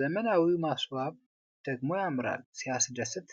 ዘመናዊው ማስዋብ ደግሞ ያምራል። ሲያስደስት!